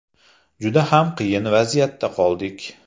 Juda xam qiyin vaziyatda qoldik.